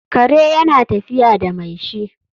kare yana tafiya da mai shi